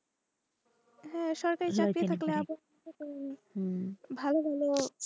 হা সরকারি চাকরি থাকলে আবার হতো ভালো ভালো,